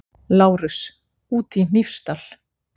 LÁRUS: Úti í Hnífsdal!